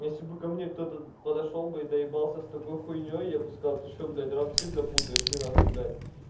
если бы ко мне кто-то подошёл бы и доебался с такой хуйнёй я бы сказал ты что блядь рамсы бля путаешь ты нахуй блядь